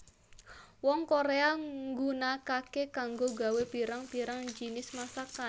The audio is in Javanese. Wong Korea nggunakake kanggo gawé pirang pirang jinis masakan